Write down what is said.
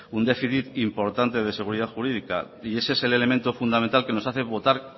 un déficit importante de seguridad jurídica y ese es el elemento fundamental que nos hace votar